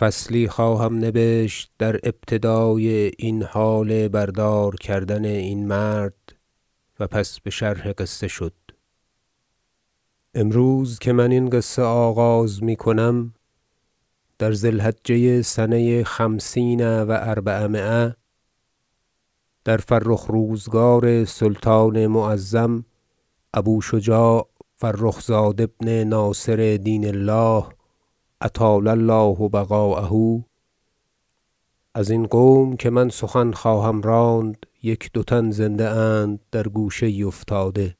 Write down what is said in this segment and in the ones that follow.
ذکر بر دار کردن امیر حسنک وزیر رحمة الله علیه فصلی خواهم نبشت در ابتدای این حال بردار کردن این مرد و پس بشرح قصه شد امروز که من این قصه آغاز میکنم در ذی الحجه سنه خمسین و اربعمایه در فرخ روزگار سلطان معظم ابو شجاع فرخ زاد ابن ناصر دین الله اطال الله بقاءه ازین قوم که من سخن خواهم راند یک دو تن زنده اند در گوشه یی افتاده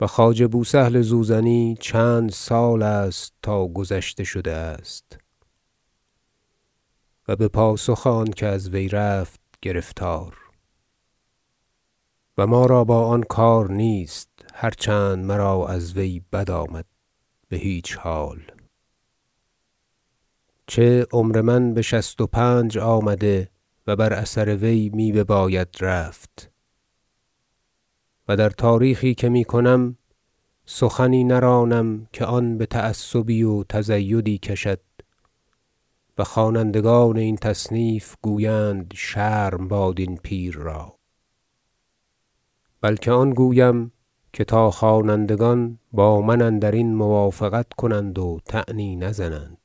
و خواجه بو سهل زوزنی چند سال است تا گذشته شده است و بپاسخ آن که از وی رفت گرفتار و ما را با آن کار نیست- هرچند مرا از وی بد آمد- بهیچ حال چه عمر من بشست و پنج آمده و بر اثر وی می بباید رفت و در تاریخی که می کنم سخنی نرانم که آن بتعصبی و تزیدی کشد و خوانندگان این تصنیف گویند شرم باد این پیر را بلکه آن گویم که تا خوانندگان با من اندرین موافقت کنند و طعنی نزنند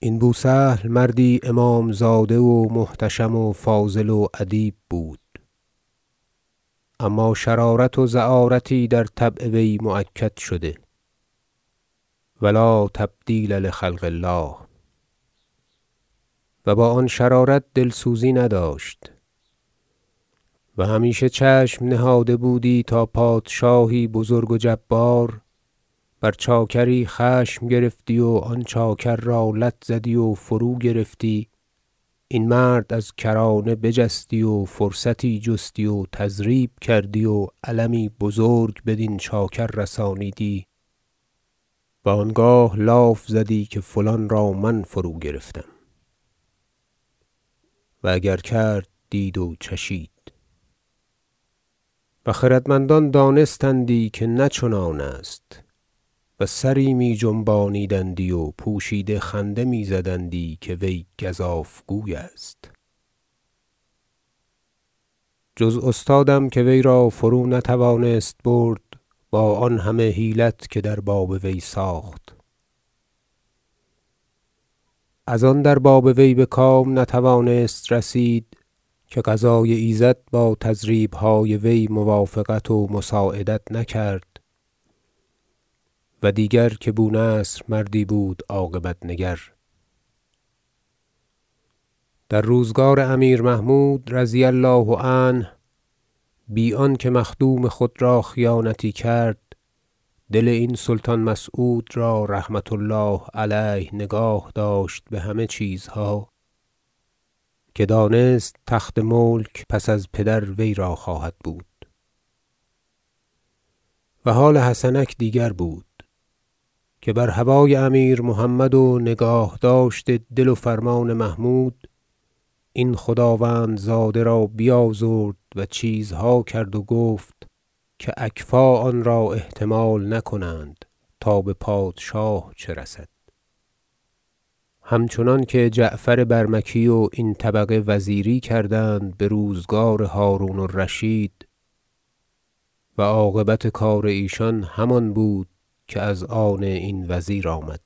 این بو سهل مردی امام زاده و محتشم و فاضل و ادیب بود اما شرارت و زعارتی در طبع وی مؤکد شده- و لا تبدیل لخلق الله - و با آن شرارت دلسوزی نداشت و همیشه چشم نهاده بودی تا پادشاهی بزرگ و جبار بر چاکری خشم گرفتی و آن چاکر را لت زدی و فروگرفتی این مرد از کرانه بجستی و فرصتی جستی و تضریب کردی و المی بزرگ بدین چاکر رسانیدی و انگاه لاف زدی که فلان را من فروگرفتم- و اگر کرد دید و چشید - و خردمندان دانستندی که نه چنان است و سری می جنبانیدندی و پوشیده خنده می زدندی که وی گزاف گوی است جز استادم که وی را فرونتوانست برد با آن همه حیلت که در باب وی ساخت از آن در باب وی بکام نتوانست رسید که قضای ایزد با تضریبهای وی موافقت و مساعدت نکرد و دیگر که بو نصر مردی بود عاقبت نگر در روزگار امیر محمود رضی الله عنه بی آنکه مخدوم خود را خیانتی کرد دل این سلطان مسعود را رحمة الله علیه نگاه داشت بهمه چیزها که دانست تخت ملک پس از پدر وی را خواهد بود و حال حسنک دیگر بود که بر هوای امیر محمد و نگاهداشت دل و فرمان محمود این خداوندزاده را بیازرد و چیزها کرد و گفت که اکفاء آن را احتمال نکنند تا بپادشاه چه رسد همچنان که جعفر برمکی و این طبقه وزیری کردند بروزگار هرون الرشید و عاقبت کار ایشان همان بود که از آن این وزیر آمد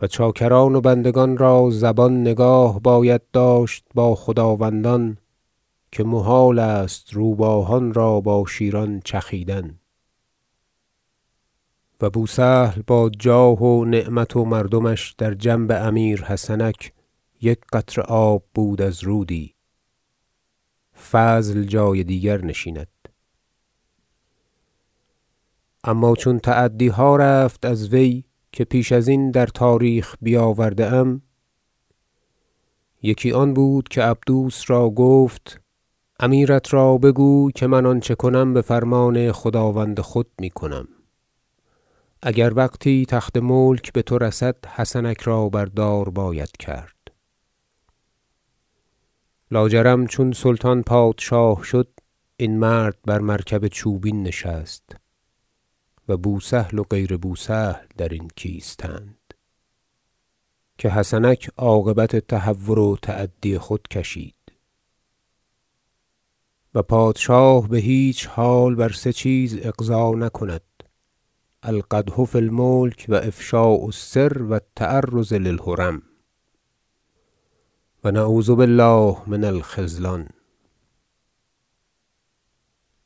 و چاکران و بندگان را زبان نگاه باید داشت با خداوندان که محال است روباهان را با شیران چخیدن و بو سهل با جاه و نعمت و مردمش در جنب امیر حسنک یک قطره آب بود از رودی- فضل جای دیگر نشیند - اما چون تعدیها رفت از وی که پیش ازین در تاریخ بیاورده ام- یکی آن بود که عبدوس را گفت امیرت را بگوی که من آنچه کنم بفرمان خداوند خود میکنم اگر وقتی تخت ملک بتو رسد حسنک را بر دار باید کرد- لاجرم چون سلطان پادشاه شد این مرد بر مرکب چوبین نشست و بو سهل و غیر بو سهل درین کیستند که حسنک عاقبت تهور و تعدی خود کشید و پادشاه بهیچ حال بر سه چیز اغضا نکند القدح فی الملک و افشاء السر و التعرض للحرم و نعوذ بالله من الخذلان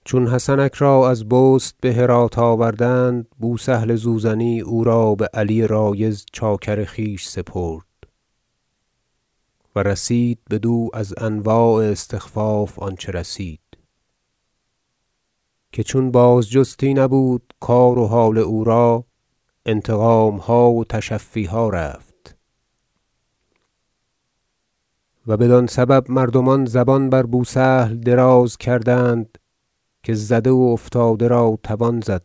چون حسنک را از بست بهرات آوردند بو سهل زوزنی او را به علی رایض چاکر خویش سپرد و رسید بدو از انواع استخفاف آنچه رسید که چون بازجستی نبود کار و حال او را انتقامها و تشفیها رفت و بدان سبب مردمان زبان بر بو سهل دراز کردند که زده و افتاده را توان زد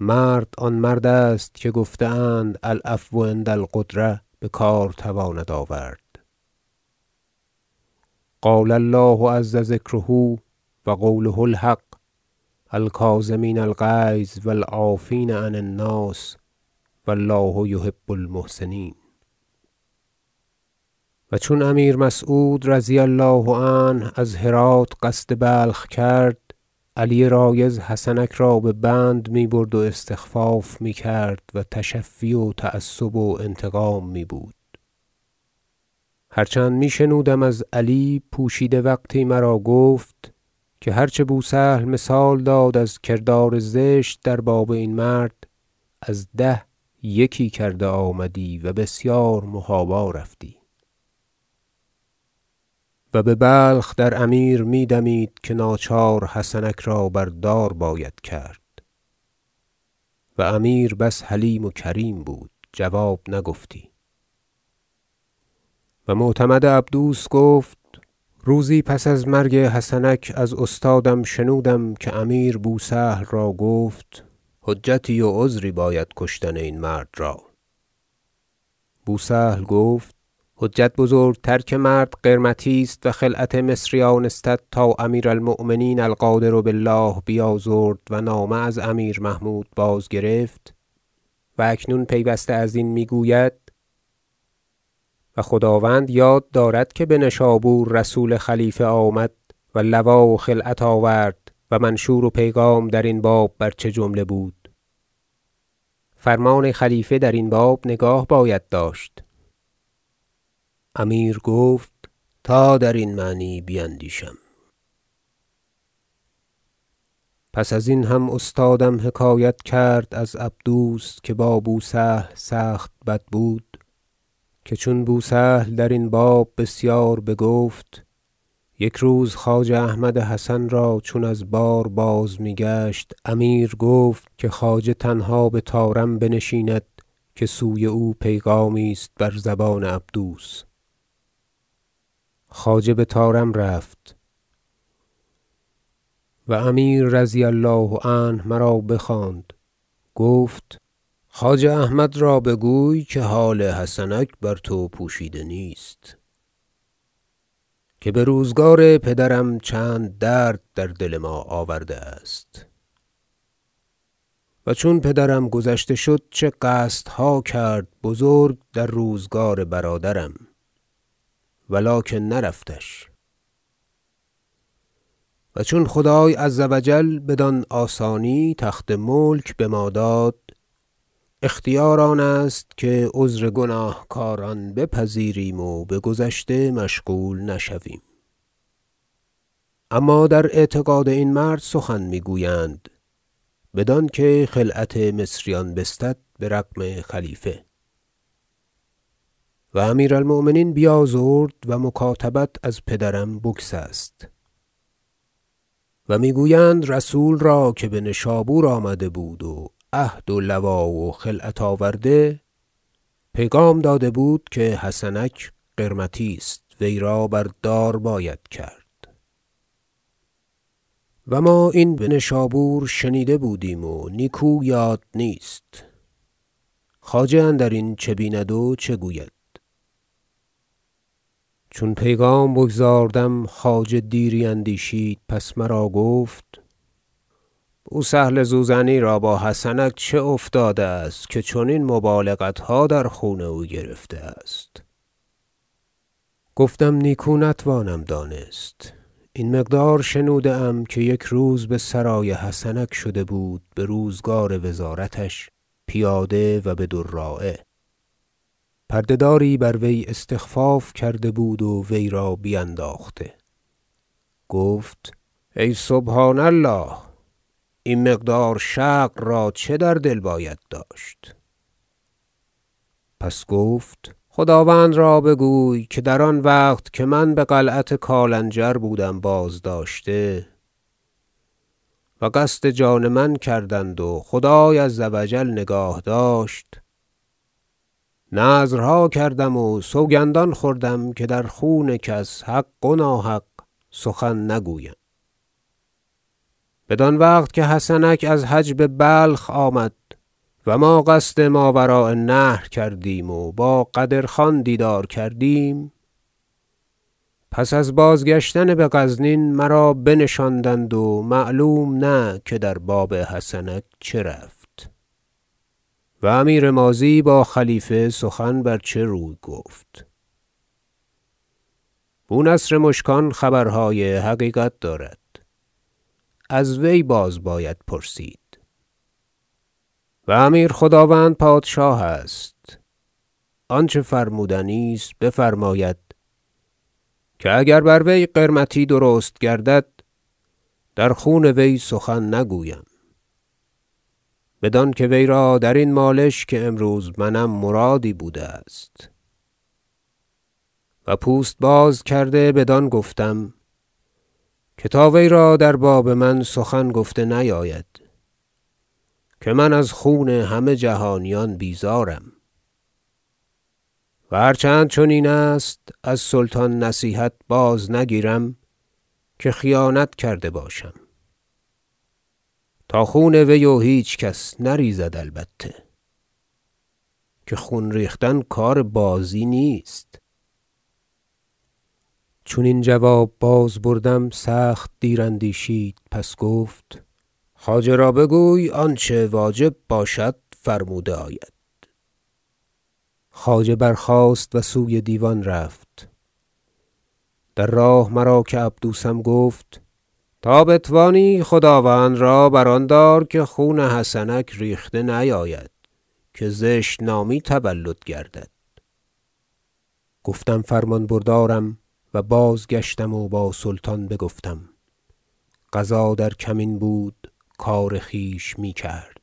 مرد آن مرد است که گفته اند العفو عند القدرة بکار تواند آورد قال الله عزذکره- و قوله الحق - الکاظمین الغیظ و العافین عن الناس و الله یحب المحسنین و چون امیر مسعود رضی الله عنه از هرات قصد بلخ کرد علی رایض حسنک را به بند می برد و استخفاف میکرد و تشفی و تعصب و انتقام می بود هرچند می شنودم از علی- پوشیده وقتی مرا گفت- که هر چه بو سهل مثال داد از کردار زشت در باب این مرد از ده یکی کرده آمدی و بسیار محابا رفتی و ببلخ در امیر می دمید که ناچار حسنک را بر دار باید کرد و امیر بس حلیم و کریم بود جواب نگفتی و معتمد عبدوس گفت روزی پس از مرگ حسنک از استادم شنودم که امیر بو سهل را گفت حجتی و عذری باید کشتن این مرد را بو سهل گفت حجت بزرگتر که مرد قرمطی است و خلعت مصریان استد تا امیر المؤمنین القادر بالله بیازرد و نامه از امیر محمود بازگرفت و اکنون پیوسته ازین می گوید و خداوند یاد دارد که بنشابور رسول خلیفه آمد و لوا و خلعت آورد و منشور و پیغام درین باب بر چه جمله بود فرمان خلیفه درین باب نگاه باید داشت امیر گفت تا درین معنی بیندیشم پس ازین هم استادم حکایت کرد از عبدوس- که با بو سهل سخت بد بود - که چون بو سهل درین باب بسیار بگفت یک روز خواجه احمد حسن را چون از بار بازمیگشت امیر گفت که خواجه تنها بطارم بنشیند که سوی او پیغامی است بر زبان عبدوس خواجه بطارم رفت و امیر رضی الله عنه مرا بخواند گفت خواجه احمد را بگوی که حال حسنک بر تو پوشیده نیست که بروزگار پدرم چند درد در دل ما آورده است و چون پدرم گذشته شد چه قصدها کرد بزرگ در روزگار برادرم ولکن نرفتش و چون خدای عزوجل بدان آسانی تخت ملک بما داد اختیار آن است که عذر گناهکاران بپذیریم و بگذشته مشغول نشویم اما در اعتقاد این مرد سخن می گویند بدانکه خلعت مصریان بستد برغم خلیفه و امیر المؤمنین بیازرد و مکاتبت از پدرم بگسست و می گویند رسول را که بنشابور آمده بود و عهد و لوا و خلعت آورده پیغام داده بود که حسنک قرمطی است وی را بر دار باید کرد و ما این بنشابور شنیده بودیم و نیکو یاد نیست خواجه اندرین چه بیند و چه گوید چون پیغام بگزاردم خواجه دیری اندیشید پس مرا گفت بو سهل زوزنی را با حسنک چه افتاده است که چنین مبالغتها در خون او گرفته است گفتم نیکو نتوانم دانست این مقدار شنوده ام که یک روز بسرای حسنک شده بود بروزگار وزارتش پیاده و بدراعه پرده داری بر وی استخفاف کرده بود و وی را بینداخته گفت ای سبحان الله این مقدار شقر را چه در دل باید داشت پس گفت خداوند را بگوی که در آن وقت که من بقلعت کالنجر بودم بازداشته و قصد جان من کردند و خدای عزوجل نگاه داشت نذرها کردم و سوگندان خوردم که در خون کس حق و ناحق سخن نگویم بدان وقت که حسنک از حج ببلخ آمد و ما قصد ماوراء النهر کردیم و با قدر خان دیدار کردیم پس از بازگشتن بغزنین مرا بنشاندند و معلوم نه که در باب حسنک چه رفت و امیر ماضی با خلیفه سخن بر چه روی گفت بو نصر مشکان خبرهای حقیقت دارد از وی باز باید پرسید و امیر خداوند پادشاه است آنچه فرمودنی است بفرماید که اگر بر وی قرمطی درست گردد در خون وی سخن نگویم بدانکه وی را درین مالش که امروز منم مرادی بوده است و پوست باز کرده بدان گفتم که تا وی را در باب من سخن گفته نیاید که من از خون همه جهانیان بیزارم و هر چند چنین است از سلطان نصیحت بازنگیرم که خیانت کرده باشم تا خون وی و هیچ کس نریزد البته که خون ریختن کار بازی نیست چون این جواب بازبردم سخت دیر اندیشید پس گفت خواجه را بگوی آنچه واجب باشد فرموده آید خواجه برخاست و سوی دیوان رفت در راه مرا که عبدوسم گفت تا بتوانی خداوند را بر آن دار که خون حسنک ریخته نیاید که زشت نامی تولد گردد گفتم فرمان بردارم و بازگشتم و با سلطان بگفتم قضا در کمین بود کار خویش میکرد